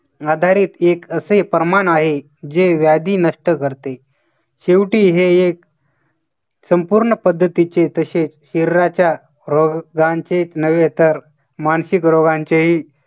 आधारित एक असे प्रमाण आहे जे व्याधी नष्ट करते. शेवटी हे एक संपूर्ण पद्धतीचे तसेच शरीराच्या रोगांचे नव्हे तर मानसिक रोगांचेही